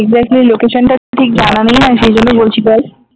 exactly location টা ঠিক জানা নেই না সেই জন্য বলছি বল